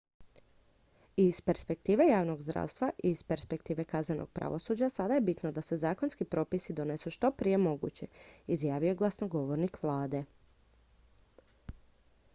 """i iz perspektive javnog zdravstva i iz perspektive kaznenog pravosuđa sada je bitno da se zakonski propisi donesu što je prije moguće" izjavio je glasnogovornik vlade.